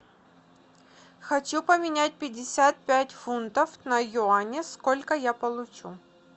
хочу поменять пятьдесят пять фунтов на юани сколько я получу